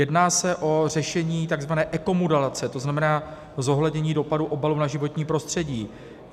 Jedná se o řešení tzv. ekomodelace, to znamená zohlednění dopadu obalů na životní prostředí.